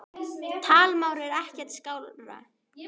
Talmál er ekki skárra.